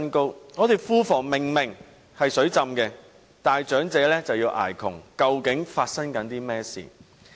香港的庫房明明"水浸"，但長者卻要捱窮，究竟發生甚麼事？